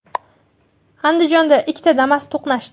Andijonda ikkita Damas to‘qnashdi .